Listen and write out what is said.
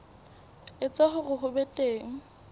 etsa hore ho be teng